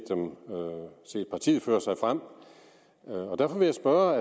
partiet føre sig frem derfor vil jeg spørge